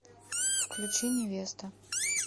включи невеста